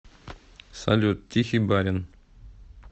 салют тихий барин